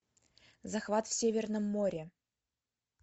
захват в северном море